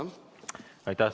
Aitäh!